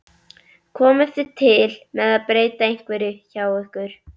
Komið þið til með að breyta einhverju hjá ykkur?